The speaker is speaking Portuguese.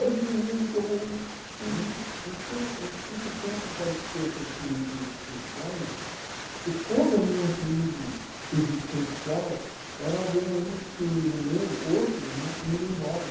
Ai, de mim, que eu vou... Eu eu não tinha, não tive tempo para ter essas crises existenciais, porque toda a minha crise existencial era ver um ente querido meu, outro né, indo embora.